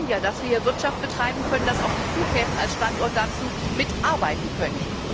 Wir wollen ja, dass wir hier Wirtschaft betreiben können, dass auch die Flughäfen als Standort mit dazu beitragen können.